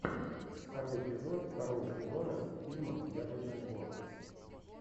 второй эпизод второго сезона фильма яблочный двор